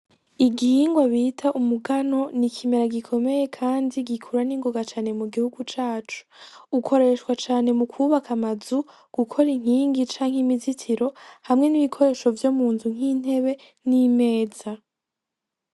Igihingwa bita umugano nikimera gikomeye kandi gikura n'ingoga canemugihugu cacu ukoreshwa cane mukubaka amazu gukora inkingi canke imizitiro hamwe n'ibikoresho vyomunzu nk'intebe n'ameza.